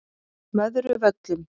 Möðruvöllum